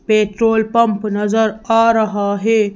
Petrol pump नजर आ रहा है।